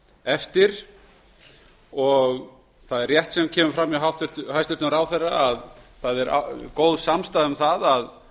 eftir það er rétt sem kemur fram hjá hæstvirtum ráðherra það er góð samstaða um að